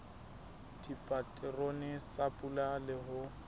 dipaterone tsa pula le ho